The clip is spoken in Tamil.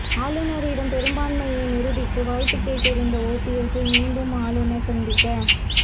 ஆளுநரிடம் பெரும்பாண்மையை நிரூபிக்க வாய்ப்பு கேட்டிருந்த ஒபிஎஸ்ஸை மீண்டும் ஆளுநர் சந்திக்க